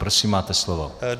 Prosím, máte slovo.